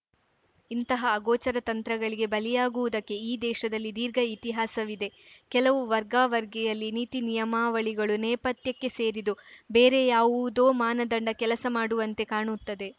ಇಂತಹ ಅಗೋಚರ ತಂತ್ರಗಳಿಗೆ ಬಲಿಯಾಗುವುದಕ್ಕೆ ಈ ದೇಶದಲ್ಲಿ ದೀರ್ಘ ಇತಿಹಾಸವಿದೆ ಕೆಲವು ವರ್ಗಾವರ್ಗಿಯಲ್ಲಿ ನೀತಿ ನಿಯಮಾವಳಿಗಳು ನೇಪಥ್ಯಕ್ಕೆ ಸೇರಿದು ಬೇರೆ ಯಾವುದೋ ಮಾನದಂಡ ಕೆಲಸಮಾಡುವಂತೆ ಕಾಣುತ್ತದೆ